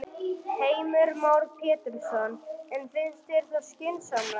Heimir Már Pétursson: En finnst þér það skynsamlegt?